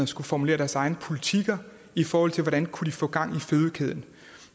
skulle formulere deres egne politikker i forhold til hvordan de kunne få gang i fødekæden